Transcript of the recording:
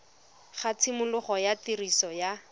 ga tshimologo ya tiriso ya